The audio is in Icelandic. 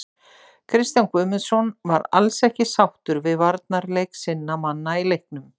Kristján Guðmundsson var alls ekki sáttur við varnarleik sinna manna í leiknum.